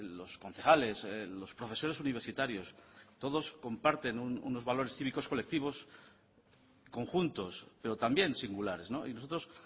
los concejales los profesores universitarios todos comparten unos valores cívicos colectivos conjuntos pero también singulares y nosotros